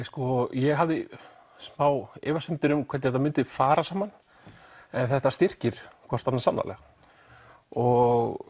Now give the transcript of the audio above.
ég hafði smá efasemdir um hvernig þetta myndi fara saman en þetta styrkir hvort annað sannarlega og